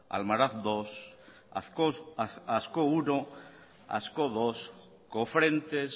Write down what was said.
almaraz segundo ascó primero ascó segundo cofrentes